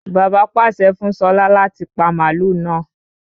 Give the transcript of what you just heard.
Bàbá pàṣẹ fún Ṣọlá láti pa màlúù náà.